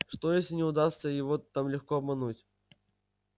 что если не удастся его там легко обмануть